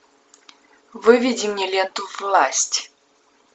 выведи мне ленту власть